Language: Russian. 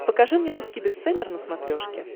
покажи мне русский бестселлер на смотрешке